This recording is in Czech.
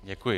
Děkuji.